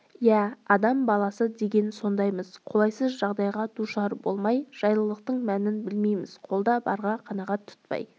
иә адам баласы деген сондаймыз қолайсыз жағдайға душар болмай жайлылықтың мәнін білмейміз қолда барға қанағат тұтпай